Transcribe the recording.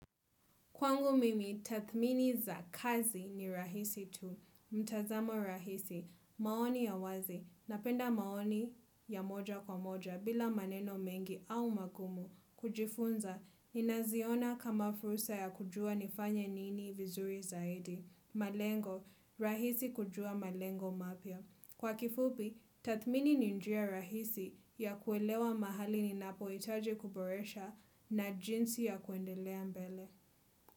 Kwangu mimi, tathmini za kazi ni rahisi tu, mtazamo rahisi, maoni ya wazi, napenda maoni ya moja kwa moja, bila maneno mengi au magumu, kujifunza, ninaziona kama fursa ya kujua nifanye nini vizuri zaidi, malengo, rahisi kujua malengo mapya. Kwa kifupi, tathmini ni njia rahisi ya kuelewa mahali ninapo hitaji kuboresha na jinsi ya kuendelea mbele.